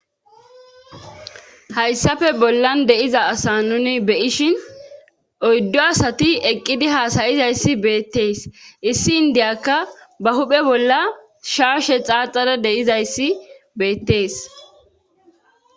hayssafe bollan de7iza asa nuni beyishin oyddo asati eqqidi haasayizayssi beettees issi indiyakka ba huphe bolla shaashe xaaxara deizayssi beettees